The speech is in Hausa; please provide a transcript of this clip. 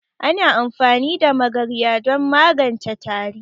Ana amfani da magarya don maganje tari